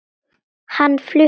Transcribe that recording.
Hann flutti